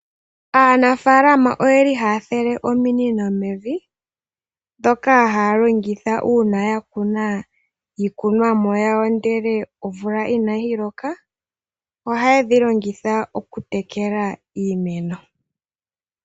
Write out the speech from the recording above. Aanafaalama ohaya fulile ominino mevi, dhoka haya longitha uuna yakuna iimeno yawo ndele omvula inayi loka, ohayedhi longitha okutekela iimeno.